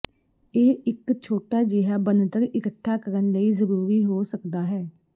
ਇਹ ਇੱਕ ਛੋਟਾ ਜਿਹਾ ਬਣਤਰ ਇਕੱਠਾ ਕਰਨ ਲਈ ਜ਼ਰੂਰੀ ਹੋ ਸਕਦਾ ਹੈ